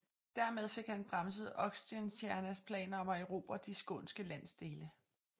Dermed fik han bremset Oxenstiernas planer om at erobre de skånske landsdele